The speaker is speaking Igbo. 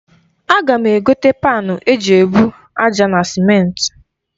Aga m egote panu e ji ebu aja na simenti.